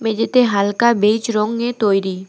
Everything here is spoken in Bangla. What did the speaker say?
মেঝেতে হালকা বেইজ রঙে তৈরি।